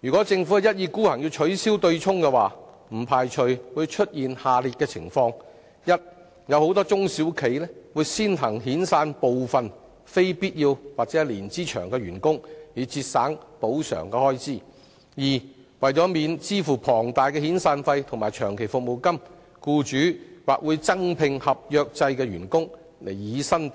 如果政府一意孤行取消強積金對沖機制，不排除出現下列情況：第一，很多中小企會先行遣散部分非必要及年資長的員工，以節省賠償開支；第二，為免支付龐大的遣散費或長期服務金，僱主或會增聘合約制員工取代全職員